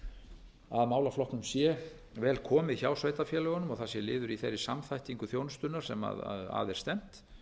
um að málaflokknum sé vel komið hjá sveitarfélögunum það sé liður í þeirri samþættingu þjónustunnar sem að er stefnt og